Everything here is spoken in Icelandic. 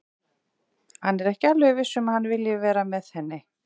Hann er ekki alveg viss um að hann vilji vera með henni.